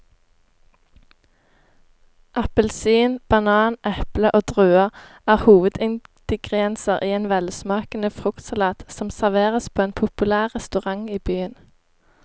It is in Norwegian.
Appelsin, banan, eple og druer er hovedingredienser i en velsmakende fruktsalat som serveres på en populær restaurant i byen.